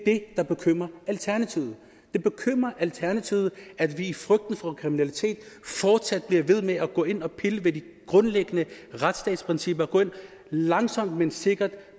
det der bekymrer alternativet det bekymrer alternativet at vi i frygten for kriminalitet fortsat bliver ved med at gå ind og pille ved de grundlæggende retsstatsprincipper at vi langsomt men sikkert